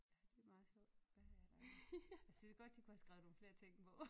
Ja det meget sjovt hvad er der ellers jeg synes godt de kunne have skrevet nogle flere ting på